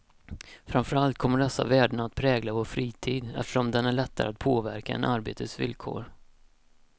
Framför allt kommer dessa värden att prägla vår fritid, eftersom den är lättare att påverka än arbetets villkor.